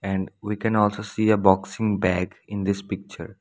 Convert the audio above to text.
and we can also see a boxing bag in this picture.